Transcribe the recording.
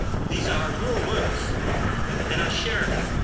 These are your words, and I share them.